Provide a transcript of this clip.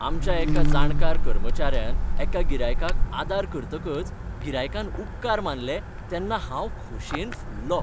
आमच्या एका जाणकार कर्मचाऱ्यान एका गिरायकाक आदार करतकच गिरायकान उपकार मानलें तेन्ना हांव खोशयेन फुल्लों